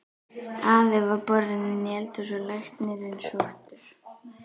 Afi var borinn inn í hús og læknir sóttur.